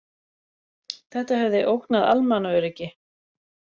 Þetta hefði ógnað almannaöryggi